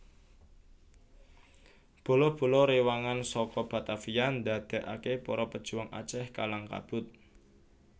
Bala bala rewangan saka Batavia ndadekake para pejuang Aceh kalang kabut